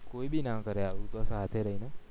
કોઈ ભી ના કરે આવું તો સાથે રહીને